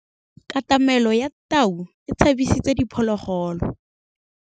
Katamêlô ya tau e tshabisitse diphôlôgôlô.